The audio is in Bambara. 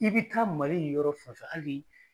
I bi taa Mali yɔrɔ fɛn fɛn hali